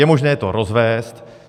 Je možné to rozvézt.